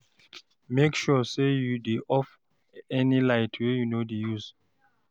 mek sure say you dey off any light wey you no dey use